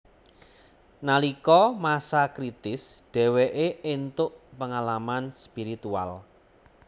Nalika masa kritis dheweke entuk pengalaman spiritual